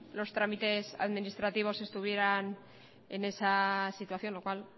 los trámites administrativos estuvieran en esa situación lo cual